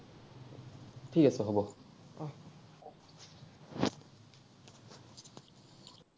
ঠিক আছে, হ’ব।